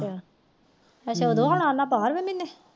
ਅੱਛਾ ਉਦੋ ਹੁਣ ਆਣਾ ਬਾਰਵੇ ਮਹੀਨੇ